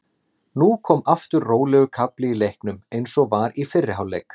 Nú kom aftur rólegur kafli í leiknum eins og var í fyrri hálfleik.